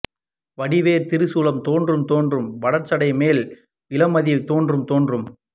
வடிவேறு திரிசூலம் தோன்றும் தோன்றும் வளர்சடை மேல் இளமதியம் தோன்றும் தோன்றும்